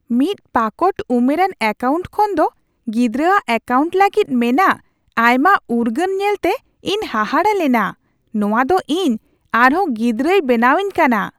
ᱢᱤᱫ ᱯᱟᱠᱚᱴ ᱩᱢᱮᱨᱟᱱ ᱮᱠᱟᱣᱩᱱᱴ ᱠᱷᱚᱱᱫᱚ ᱜᱤᱫᱽᱨᱟᱹ ᱟᱜ ᱮᱠᱟᱣᱩᱱᱴ ᱞᱟᱹᱜᱤᱫ ᱢᱮᱱᱟᱜ ᱟᱭᱢᱟ ᱩᱨᱜᱟᱹᱱ ᱧᱮᱞᱛᱮ ᱤᱧ ᱦᱟᱦᱟᱲᱟ ᱞᱮᱱᱟ ᱾ ᱱᱚᱶᱟᱫᱚ ᱤᱧ ᱟᱨᱦᱚᱸ ᱜᱤᱫᱽᱨᱟᱹᱭ ᱵᱮᱱᱟᱣᱤᱧ ᱠᱟᱱᱟ ᱾